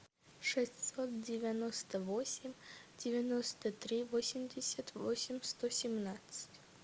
шестьсот девяносто восемь девяносто три восемьдесят восемь сто семнадцать